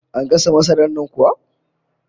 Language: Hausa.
An gasa masarar nan kuwa?